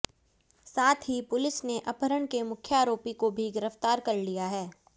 साथ ही पुलिस ने अपहरण के मुख्य आरोपी को भी गिरफ्तार कर लिया है